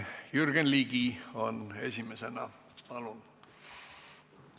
Jürgen Ligi esimesena, palun!